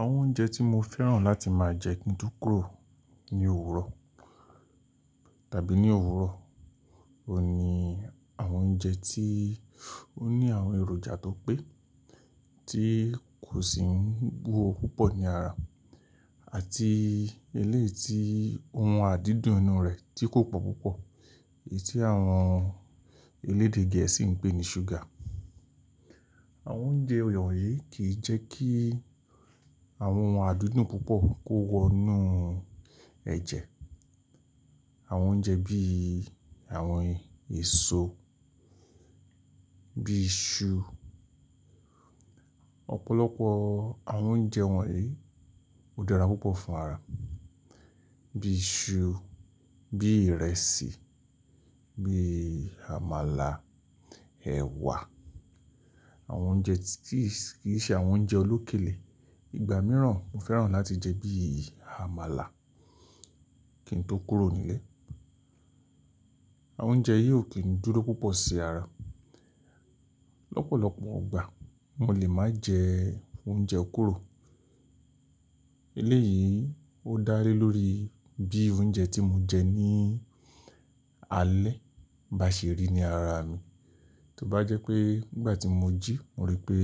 Àwọn oúnjẹ tí mo fẹ́ràn láti máa jẹ kí n tó kúrò ní òwúrọ̀ tàbí ní òwúrọ̀, ò ní àwọn oúnjẹ tí ó ní àwọn èròjà tó pé, tí kò sì ń bú ọhun púpọ̀ ní ara àti eléyìí tí ohun adídùn inú rẹ̀ tí kò pọ̀ púpọ̀, èyí tí àwọn elédè gẹ̀ẹ́sì ń pè ní ṣúgà. Àwọn oúnjẹ wọ̀nyí kì í jẹ́ kí àwọn ohun adídùn púpọ̀ kó wọ inú ẹ̀jẹ̀. Àwọn oúnjẹ bí i àwọn èsoo, bi iṣu, ọ̀pọ̀lọpọ̀ àwọn oúnjẹ wọ̀nyí ó dára púpọ̀ fún ara, bí i iṣu, bí i ìrẹsì, bí i àmàlà, ẹ̀wà, àwọn oúnjẹ tí kìí ṣe àwọn oúnjẹ olókèlé. Ìgbà mìíràn mo fẹ́ràn láti jẹ bí i àmàlà kí n tó kúrò ni ílé. Àwọn oúnjẹ yìí ò kí ń dúró púpọ̀ sí ara. Lọ́pọ̀lọ́pọ̀ igbà mo lè máa jẹ oúnjẹ kúrò. Eléyìí ó dálé lórí bi iru oúnjẹ tí mo jẹ ní alẹ́ bá ṣe rí ní ara mi. Tó bá jẹ́ pé nígbà tí mo jí mo rí pé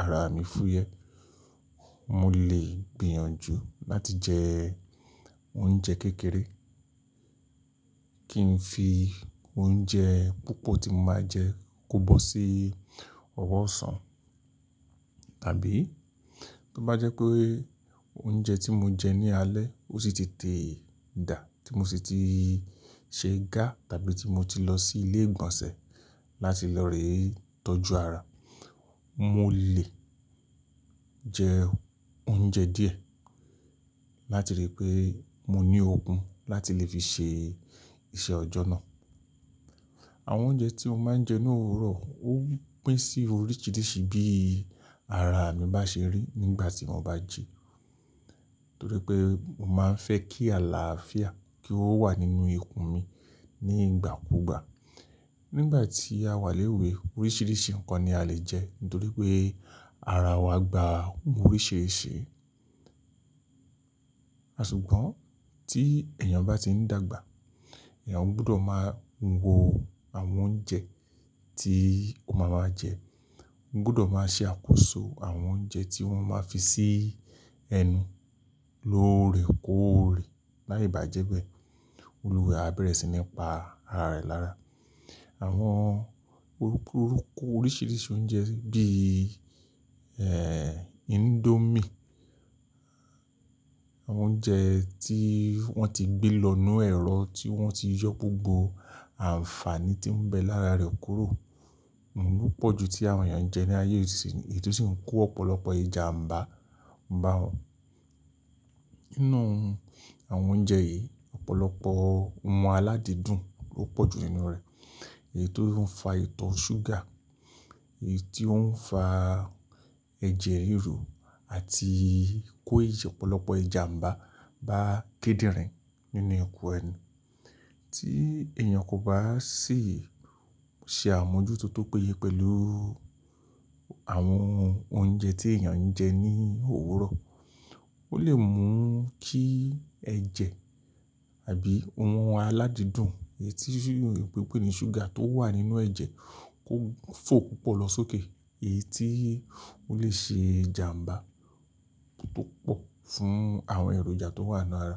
ara mi fúyẹ́, mo lè gbìyànjú láti jẹ oúnjẹ kékeré kí n fi oúnjẹ púpọ̀ tí mo máa jẹ kó bọ́ sí ọwọ́ ọ̀sán. Tàbí tó bá jẹ́ pé oúnjẹ tí mo jẹ ní alẹ́ ó sì ti te dà, tí mo sì ti ṣe ìga tàbí tí mo ti lọ sí ilé ìgbọ̀nsẹ̀ láti lọ ree tọ́jú ara, mo lè jẹ oúnjẹ díẹ̀ láti rí pé mo ní okun láti lè fi ṣe iṣẹ́ ọjọ́ náà. Àwọn oúnjẹ tí mo máa ń jẹ ní òwúrọ̀ ó pín sí oríṣiríṣi bí ara mi bá ṣe rí nígbà tí mo bá jẹ. Torí pé mo máa ń fẹ́ kí àlàáfíà kí ó wà nínú ikùn mi níi igbà kúugbà. Nígbà tí a wà léwe oríṣiríṣi nǹkan ni a lè jẹ nítorí pé ara wa gba ohun oríṣiríṣi. Ṣùgbọ́n tí èèyàn bá ti ń dàgbà, èèyàn gbọdọ̀ máa wo àwọn oúnjẹ tí ó má máa jẹ. Ó gbudọ̀ máa ṣe àkóso àwọn oúnjẹ tí o ma maa fi sií ẹnu lóore kóòre láì bá jẹ́ bé olùwa e aabẹ̀rẹ̀ sí ní pa ara rẹ̀ lára. Àwọn orúku oruku oríṣiríṣi oúnjẹ bíi, índómì, àwọn oúnjẹ tí wọ́n ti gbé lọ́ inu ẹ̀rọ, tí wọ́n ti yọ gbogbo àǹfààní tí ń bẹ lára rẹ̀ kúrò, òun ló pọ̀ ju tí àwọn èèyàn ń jẹ ní ayé isin èyí tó sì ń kó ọ̀pọ̀lọpọ̀ ìjàmbá bá wọn. Nínú àwọn oúnjẹ yìí ọ̀pọ̀lọpọ̀ ohun aládìdùn ló pọ̀ ju ninú rẹ̀, èyí tó ń fa ìtọ́ ṣúgà, èyí tó ń fa ẹ̀jẹ̀ ríru àti kó ọ̀pọ̀lọpọ̀ ìjàmbá bá kidinrin nínú ikùn ẹnu. Tí èèyàn kò bá sì ṣe àmójútó tó péye pẹ̀lú àwọn oúnjẹ tí èèyàn ń jẹ ní òwúrọ̀, ó lè mú kí ẹ̀jẹ̀ tàbí ohun aládìdùn èyí tí òyinbo ń pé ní ṣúgà tó wà nínú ẹ̀jẹ̀ kó fò ko lọ sókè, èyí tí ó lè ṣe ìjàmbá púpọ̀ fún àwọn èròjà tó wà nínú ara.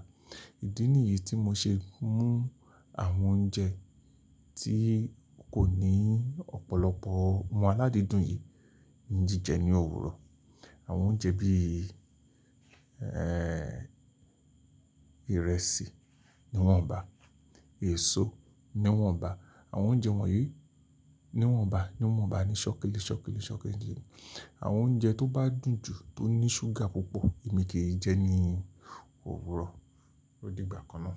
Ìdí nìyí tí mo ṣe mú àwọn oúnjẹ tí kò ní ọ̀pọ̀lọpọ̀ ohun aládìdùn yìí ńi jíjẹ ní òwúrọ̀. Àwọn oúnjẹ bí i, ìrẹsì ni wọ́nbá, èso ni wọ́nbá, àwọn oúnjẹ wọ̀nyí ni wọ́nbá, ni wọ́nba nísoki nisoki nisoki ni Àwọn oúnjẹ tó bá dùn jù tó ní ṣúgà púpọ̀ èmi kì í jẹ ní òwúrọ̀ odi ìgbà kan náà.